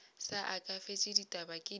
sa aketše ditaba ke di